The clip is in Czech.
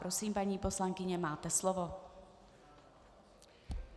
Prosím, paní poslankyně, máte slovo.